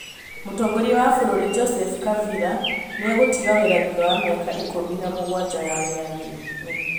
Mũtongoria wa bũrũri Joseph Kabila nĩegũtiga wĩra thutha wa miaka ikũmi na mũgwanja ya wĩyathi-inĩ